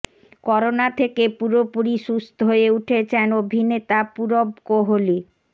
corona থেকে পুরোপুরি সুস্থ হয়ে উঠেছেন অভিনেতা পূরব কোহলি